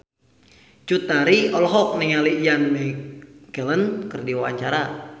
Cut Tari olohok ningali Ian McKellen keur diwawancara